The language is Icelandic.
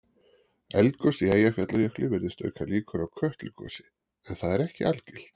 Eldgos í Eyjafjallajökli virðist auka líkur á Kötlugosi en það er ekki algilt.